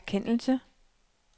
erkendelse